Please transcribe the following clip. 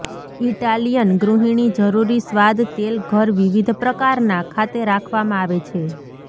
Italian ગૃહિણી જરૂરી સ્વાદ તેલ ઘર વિવિધ પ્રકારના ખાતે રાખવામાં આવે છે